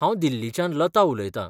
हांव दिल्लीच्यान लता उलयतां .